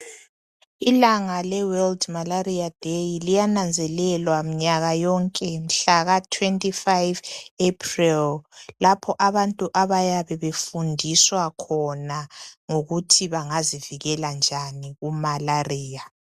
Ilanga le weldi malariya deyi liyananzelelwa mnyaka yonke mhlaka 25 Eprel lapho abantu abayabe befundiswa khona ngokuthi bangazivikela njani ku malariya.